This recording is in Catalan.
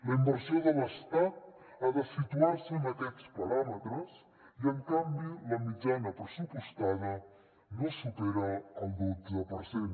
la inversió de l’estat ha de situar se en aquests paràmetres i en canvi la mitjana pressupostada no supera el dotze per cent